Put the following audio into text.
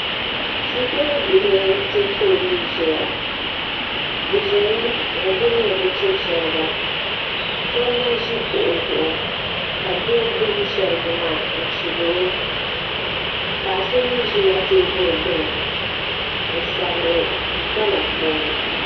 Shikuru bihi mpɛ foolee zɛya bi zimi n guli ni bi chibi shiriga so n na zi kuɣu zuɣu ka doo gbubi shɛriga maa n chibiri o paɣa so mi zila tɛɛbuli gbuni n sabiri gbana puuni.